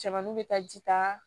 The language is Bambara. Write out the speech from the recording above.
Cɛmannu be taa ji ta